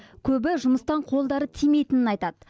көбі жұмыстан қолдары тимейтінін айтады